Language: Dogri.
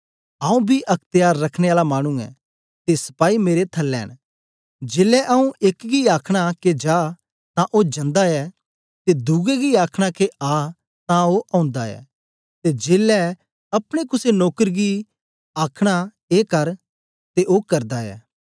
आऊँ बी अख्त्यार रखने आला मानु ऐं ते सपाई मेरे थलै न जेलै आऊँ एक गी आखना के जा तां ओ जंदा ऐ ते दुए गी आखना के आ तां ओ ओंदा ऐ ते जेलै अपने कुसे नौकर गी आ आखना ए कर ते ओ करदा ऐ